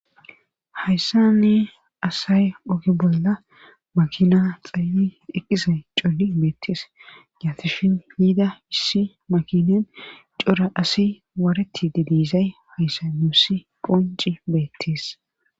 hayssani asay oge bolla makina xayyi heqqisay coli beettees yaatishin hiida issi makinen cora asi waareti didiizay hayssa nuussi qonci beettees